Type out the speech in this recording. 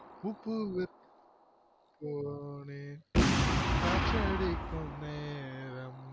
உப்புவிற்க் போனேன் காற்றடிக்கும் நேரம்